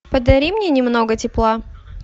подари мне немного тепла